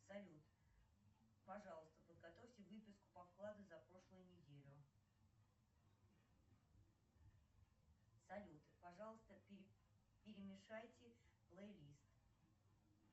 салют пожалуйста подготовьте выписку по вкладу за прошлую неделю салют пожалуйста перемешайте плейлист